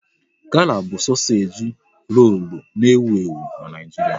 Gala bụ sosage rolu n'ewu ewu n'Naijiria